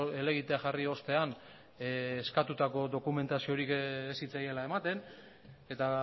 helegitea jarri ostean eskatutako dokumentaziorik ez zitzaiela ematen eta